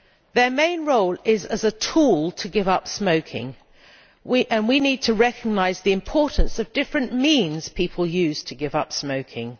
Their main role is as a tool to give up smoking, and we need to recognise the importance of the different means people use to give up smoking.